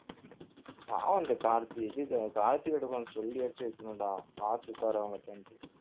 பாவம் அந்த கார்த்தி இது காயத்திரிட்ட கொஞ்சம் சொல்லியாச்சும் வைக்கணும்டா பார்த்து உட்காரு அவங்ககிட்டன்ட்டு